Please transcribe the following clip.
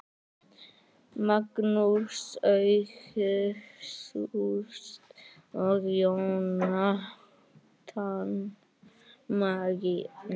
Magnús Ágúst og Jónatan Magni